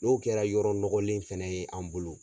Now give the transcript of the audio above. N'o kɛra yɔrɔ nɔgɔlen fɛnɛ ye an bolo